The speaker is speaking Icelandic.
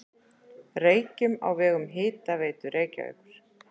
Reykjum á vegum Hitaveitu Reykjavíkur.